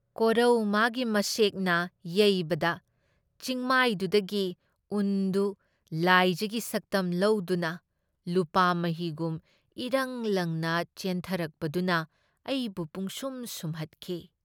ꯀꯣꯔꯧ ꯃꯥꯒꯤ ꯃꯁꯦꯛꯅ ꯌꯩꯕꯗ ꯆꯤꯡꯃꯥꯏꯗꯨꯗꯒꯤ ꯎꯟꯗꯨ ꯂꯥꯏꯖꯒꯤ ꯁꯛꯇꯝ ꯂꯧꯗꯨꯅ ꯂꯨꯄꯥ ꯃꯍꯤꯒꯨꯝ ꯏꯔꯪ ꯂꯪꯅ ꯆꯦꯟꯊꯔꯛꯄꯗꯨꯅ ꯑꯩꯕꯨ ꯄꯨꯝꯁꯨꯝ ꯁꯨꯝꯍꯠꯈꯤ꯫